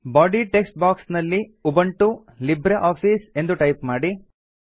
body text box ನಲ್ಲಿ Ubuntu Libre Office ಎಂದು type ಮಾಡಿ